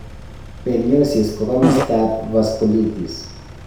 Perniosis ko kamastaab vasculitis.